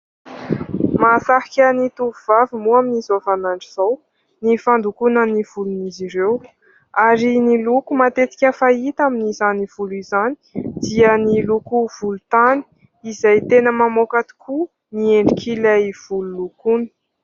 Mahasarika ny tovovavy moa amin'izao vanin'andro izao, ny fandokoana ny volon'izy ireo ary ny loko fahita amin'izany volo izany dia ny loko volontany izay tena mamoaka tokoa ny endrik'ilay volo lokoina.